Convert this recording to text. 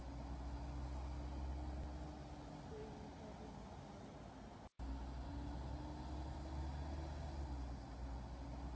ਕੋਈ ਵੀ problem ਨਾ ਆਵੇ।